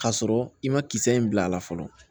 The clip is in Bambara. K'a sɔrɔ i ma kisɛ in bila a la fɔlɔ